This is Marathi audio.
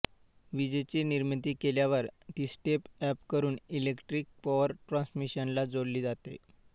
विजेची निर्मिती केल्यावर ती स्टेप अप करून इलेक्ट्रिक पॉवर ट्रान्समिशनला जोडली जाते